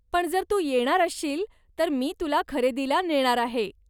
पण जर तू येणार असशील तर मी तुला खरेदीला नेणार आहे.